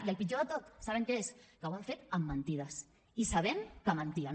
i el pitjor de tot saben què és que ho han fet amb mentides i sabent que mentien